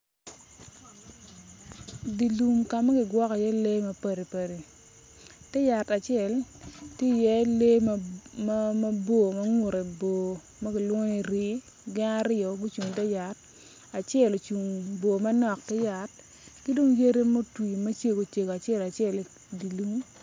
Dye lum ka ma kigwoko iye lee ma padi padi te yat acel tye i ye lee mabor ma ngute bor ma kilwongo ni rii gin aryo gucung i te yat acel ocung bor manok ki yat ki dong yadi mutwi acel acel i dye lum.